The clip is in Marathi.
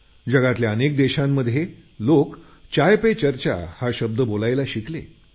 जगातल्या अनेक देशांमधले लोक चाय पे चर्चा हा शब्द बोलायला शिकले